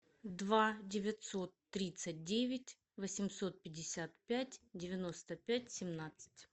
два девятьсот тридцать девять восемьсот пятьдесят пять девяносто пять семнадцать